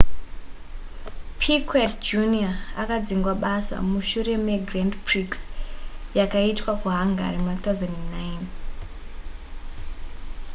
piquet jr akadzingwa basa mushure megrand prix yakaitwa kuhungary muna 2009